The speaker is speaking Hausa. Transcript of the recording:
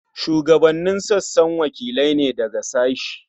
Shugabannin sassa wakilai ne daga sashe.